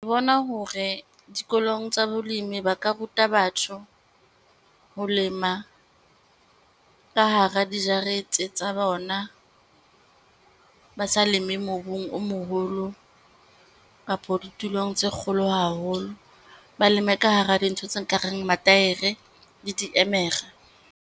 Bona hore dikolong tsa bolemi ba ka ruta batho ho lema ka hara dijarete tsa bona, ba sa leme mobung o moholo kapo ditulong tse kgolo haholo. Ba leme ka hara dintho tse nkareng mataere le diemere.